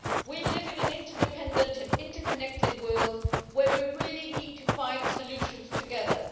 We live in an interdependent and interconnected world where we really need to find solutions together.